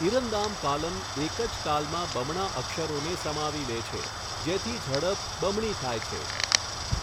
ઈરંદામ કાલમ એક જ તાલમાં બમણા અક્ષરોને સમાવી લે છે, જેથી ઝડપ બમણી થાય છે.